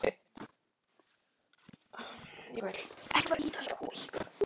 Ef rignir gerist það sama.